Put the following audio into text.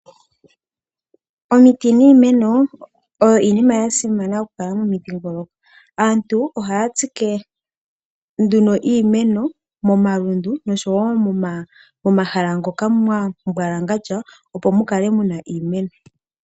Omiti niimeno oyo iinima ya simana okukala momidhingoloko. Aantu ohaya tsike nduno iimeno momalundu noshowo momahala moka mwa mbwalangandja, opo mu kale mu na iimeno.